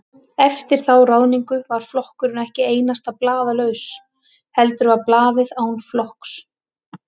Eftir þá ráðningu var flokkurinn ekki einasta blaðlaus, heldur var blaðið án flokks.